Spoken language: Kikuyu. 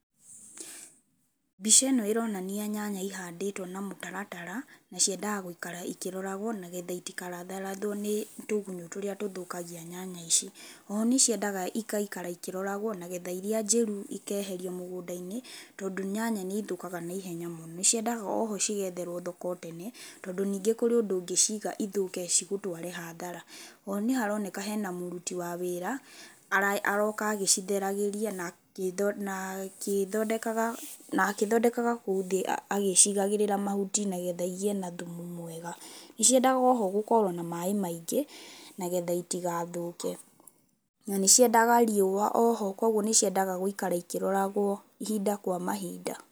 Mbica ĩno ĩronania nyanya ihandĩtwo na mũtaratara, na ciendaga gũikara cikĩroragwo nĩgetha itikaratharathwo nĩ tũgunyũ tũrĩa tũthũkagia nyanya ici. O ho nĩciendaga igaikara ikĩroragwo nagetha iria njĩru ikeherio mũgũnda-inĩ tondũ nyanya nĩithũkaga na ihenya mũno. Nĩciendaga oho cigetherwo thoko o tene tondũ ningĩ harĩ ũrĩa ũngĩciga cithũke cigũtware hathara. O ho nĩharoneka hena mũruti wa wĩra aroka agĩcitheragĩria na agĩthondekaga kũu thĩ agĩcigagĩrĩra mahut,i nĩgetha igĩe na thumu mwega. Nĩciendaga oho gũkorwo na maaĩ maingĩ nĩgetha itigathũke. Na nĩciendaga rĩua, o ho koguo nĩciendaga gũikara ikĩroragwo ihinda kwa mahinda.